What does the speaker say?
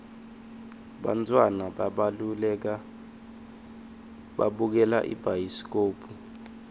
bantfwana babukela ibhayiskobhu